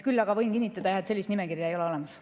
Küll aga võin kinnitada, et sellist nimekirja ei ole olemas.